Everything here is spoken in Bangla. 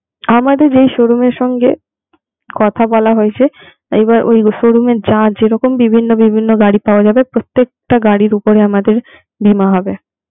আমাদের যেই showroom এর সঙ্গে কথা বলা হয়েছে এবার ওই showroom এর যা যেরকম বিভিন্ন বিভিন্ন গাড়ি পাওয়া যাবে প্রত্যেকটা গাড়ির উপরে আমাদের বীমা হবে.